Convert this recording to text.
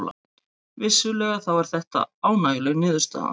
Vissulega þá er þetta ánægjuleg niðurstaða